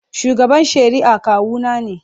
Shugaban shari'a kawuna ne.